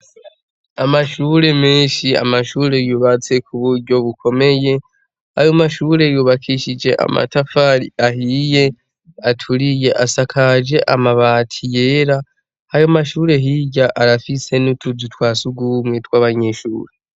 Amashure menshi amashure yubatse kuburyo bukomeye ayo mashure yubakishije amatafari ahiye aturiye asakaje amabati yera ayo mashure hirya arafise n' utuzu twasugumwe tw' abanyenshuri.